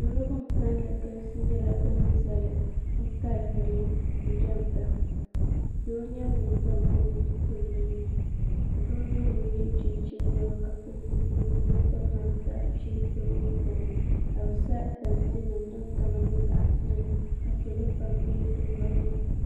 salo bin kanli galisi nyɛla bin zali bi kali bini jɛmda doo nyɛ ŋun zaŋ o nuu tim dinni doo n nyɛ ŋun yɛ chinchin niɛma ka pili zipiligu maa ka namda ʒɛ bini ŋɔ gbuni ka bi sa tanti nim din kama nyɛ zaɣ piɛlli ka salo pam bɛ di loŋni